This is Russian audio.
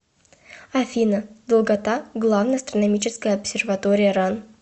афина долгота главная астрономическая обсерватория ран